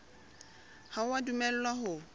ha o a dumellwa ho